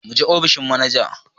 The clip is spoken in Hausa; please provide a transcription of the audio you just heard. Muje ofishin manajan!